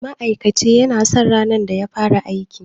Ma'aikaci ya san ranar da ya fara aiki